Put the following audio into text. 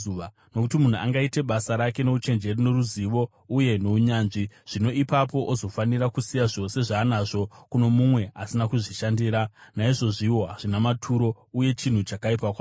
Nokuti munhu angaite basa rake nouchenjeri, noruzivo uye nounyanzvi, zvino ipapo ozofanira kusiya zvose zvaanazvo kuno mumwe asina kuzvishandira. Naizvozviwo hazvina maturo uye chinhu chakaipa kwazvo.